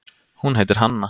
Hún heitir Hanna.